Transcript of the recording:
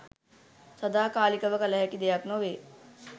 සදාකාලිකව කළ හැකි දෙයක් නොවේ.